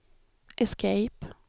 escape